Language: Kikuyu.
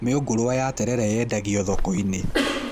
Mĩũngũrwa ya terere yendagio thoko-inĩ